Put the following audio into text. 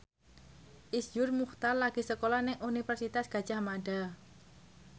Iszur Muchtar lagi sekolah nang Universitas Gadjah Mada